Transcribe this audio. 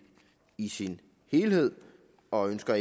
i sin helhed og ønsker